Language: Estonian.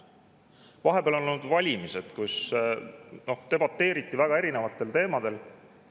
Vahepeal olid valimised, debateeriti väga erinevatel teemadel.